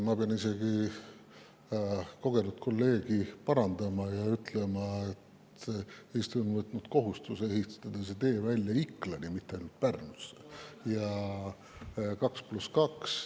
Ma pean kogenud kolleegi isegi parandama ja ütlema, et Eesti on võtnud kohustuse ehitada 2 + 2 tee välja Iklani, mitte ainult Pärnusse.